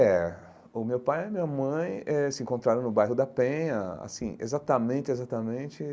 É, o meu pai e a minha mãe eh se encontraram no bairro da Penha, assim, exatamente, exatamente.